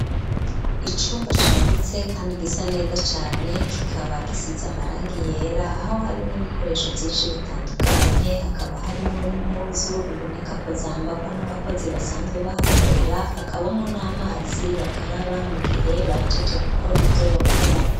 Icumba cagutse kandi gisa neza cane kikaba gisiza amarangi yera aho harimwo ibikoresho vyinshi bitandukanye hakaba harimwo n'impuzu bibonekako zambagwa n'abakozi basanzwe bahakorera hakabamwo n'amazi bakaraba mu gihe bahejeje gukora ivyo bakora.